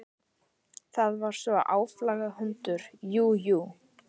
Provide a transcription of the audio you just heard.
Það var sá áflogahundur, jú, jú.